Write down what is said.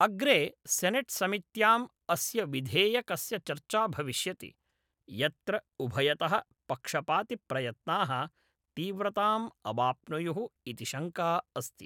अग्रे सेनेट्समित्याम् अस्य विधेयकस्य चर्चा भविष्यति, यत्र उभयतः पक्षपातिप्रयत्नाः तीव्रताम् अवाप्नुयुः इति शङ्का अस्ति।